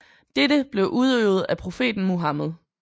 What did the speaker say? Dette blev udøvet af profeten Muhammed